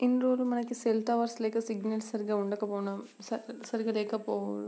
ఇన్ని రోజులు మనకి సెల్ టవర్స్ లేక సిగ్నల్ సరిగ్గా ఉండకపోటం సరిగా లేకపోవ